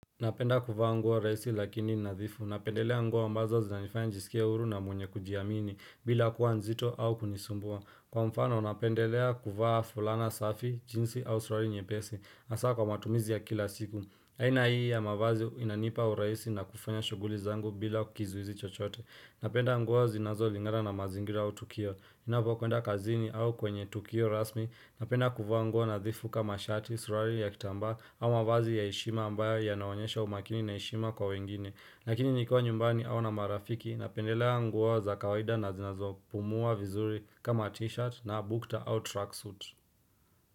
Napenda kuvaa nguo rahisi lakini nadhifu, napendelea nguo ambazo zinanifanya nijisikie huru na mwenye kujiamini bila kuwa nzito au kunisumbua Kwa mfano napendelea kuvaa fulana safi, jinsi au suruali nyepesi, hasaa kwa matumizi ya kila siku aina hii ya mavazi inanipa urahisi na kufanya shughuli zangu bila kizuizi chochote Napenda nguo zinazolingana na mazingira au tukio, ninapokuenda kazini au kwenye tukio rasmi napenda kuvaa nguo nadhifu kama sharti suruali ya kitambaa ama vazi ya heshima ambayo yanaonyesha umakini na heshima kwa wengine lakini nikiwa nyumbani au na marafiki napendelea nguo za kawaida na zinazopumua vizuri kama t-shirt na bukta au truck suit.